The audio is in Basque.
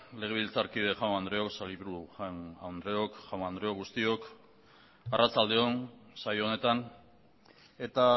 legebiltzarkide jaun andreok sailburu jaun andreok guztiok arratsalde on saio honetan eta